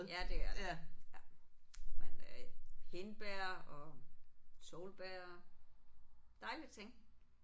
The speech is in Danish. Ja det er der ja. Men øh hindbær og solbær. Dejlige ting